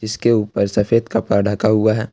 इस के ऊपर सफेद कपड़ा रखा हुआ है।